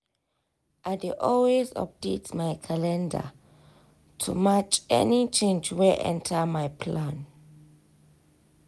i dey always update my calendar to match any change wey enter my plan.